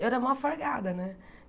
Eu era mó folgada, né?